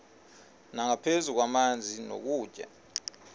nangaphezu kwamanzi nokutya